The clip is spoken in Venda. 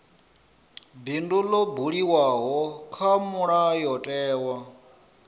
bindu ḽo buliwaho kha mulayotewa